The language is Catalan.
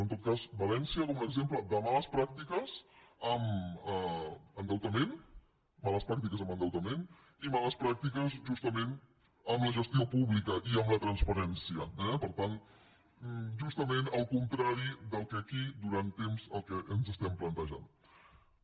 en tot cas valència com un exemple de males pràctiques en endeutament i males pràctiques justament en la gestió pública i en la transparència eh per tant justament el contrari del que aquí fa temps que ens plantegem